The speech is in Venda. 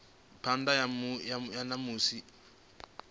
phanḓa ha musi muthu a